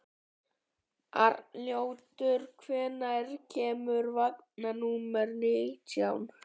Arnljótur, hvenær kemur vagn númer nítján?